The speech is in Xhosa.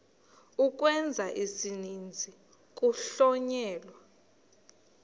ukwenza isininzi kuhlonyelwa